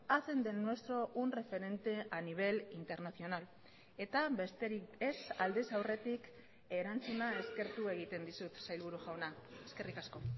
hacen del nuestro un referente a nivel internacional eta besterik ez aldez aurretik erantzuna eskertu egiten dizut sailburu jauna eskerrik asko